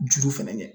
Juru fɛnɛ ye